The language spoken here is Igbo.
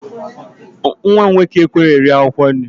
Nwa m nwoke ekweghị eri akwụkwọ nri